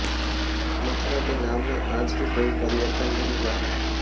मथुरा के नाम में आज भी कोई परिवर्तन नहीं हुआ है